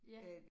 Ja